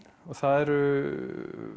og það eru